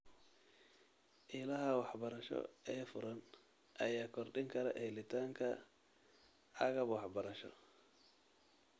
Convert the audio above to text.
Ilaha waxbarasho ee furan ayaa kordhin kara helitaanka agab waxbarasho.